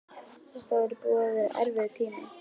Þetta væri búinn að vera erfiður tími.